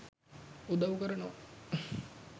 උදව් කරනවා.